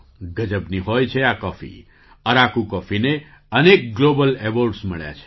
ગજબની હોય છે આ કૉફી અરાકુ કૉફીને અનેક ગ્લૉબલ એવૉર્ડ મળ્યા છે